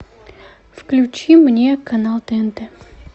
включи мне канал тнт